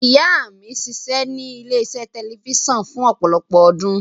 Ìyá mi ṣiṣẹ́ ní ilé-iṣẹ́ tẹlifíṣàn fún ọ̀pọ̀lọpọ̀ ọdún.